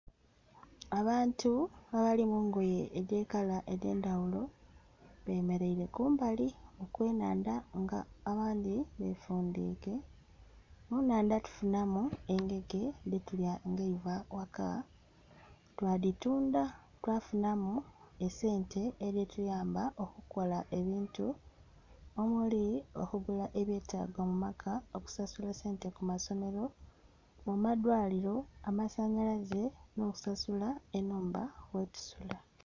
Abantu abali mu ngoye edh'ekala edh'endhaghulo bemereire kumbali kwe nnhandha nga abandhi befundhike, mu nnhandha tufunamu engege dhetulya nga eiva ghaka, twa dhitundha twafunamu esente edhituyamba okukola ebintu omuli okugula ebyetaago mu maka, okusasula sente ku masomero, mu ma dwaliro, amasanhalaze nho okusasula ennhumba ghe tusula.